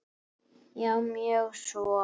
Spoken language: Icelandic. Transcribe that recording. Já, mjög svo.